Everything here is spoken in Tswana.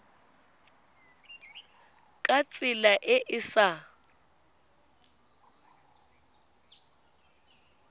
ka tsela e e sa